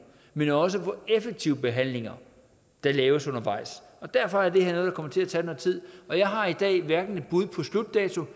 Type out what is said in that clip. men også hvor effektive behandlinger der laves undervejs derfor er det her noget der kommer til at tage noget tid jeg har i dag hverken et bud på slutdato